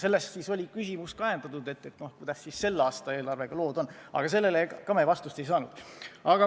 Sellest siis oligi ajendatud ka küsimus, kuidas selle aasta eelarvega lood on, aga sellele me samuti vastust ei saanud.